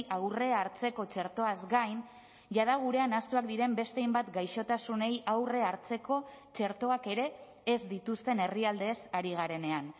aurre hartzeko txertoaz gain jada gurean ahaztuak diren beste hainbat gaixotasunei aurrea hartzeko txertoak ere ez dituzten herrialdeez ari garenean